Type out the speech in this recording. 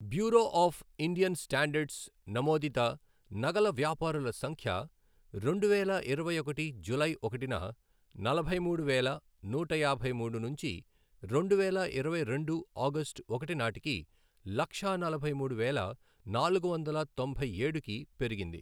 Bureau of Indian standards నమోదిత నగల వ్యాపారుల సంఖ్య రెండువేల ఇరవై ఒకటి జూలై ఒకటిన నలభై మూడు వేల నూట యాభై మూడు నుంచి రెండువేల ఇరవై రెండు ఆగస్టు ఒకటి నాటికి లక్షా నలభై మూడు వేల నాలుగు వందల తొంభై ఏడుకి పెరిగింది.